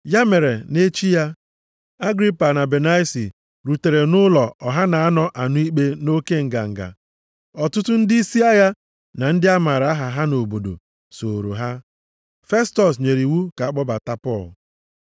Ya mere, nʼechi ya, Agripa na Benaisi rutere nʼụlọ ọha na-anọ anụ ikpe nʼoke nganga. Ọtụtụ ndịisi agha na ndị a maara aha ha nʼobodo a sooro ha. Festọs nyere iwu ka a kpọbata Pọl.